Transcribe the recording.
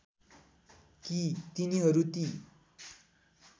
कि तिनीहरू ती